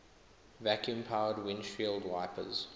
vacuum powered windshield wipers